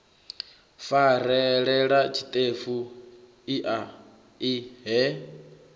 farelela tshiṱefu ea i he